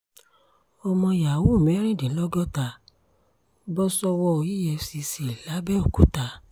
ọmọ yahoo mẹ́rìndínlọ́gọ́ta bọ́ sọ́wọ́ efcc làbẹ́òkúta